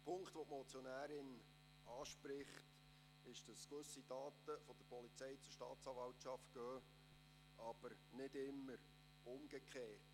Die Motionärin spricht den Punkt an, dass gewisse Daten von der Polizei zur Staatsanwaltschaft gehen, aber nicht immer umgekehrt.